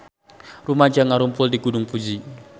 Rumaja ngarumpul di Gunung Fuji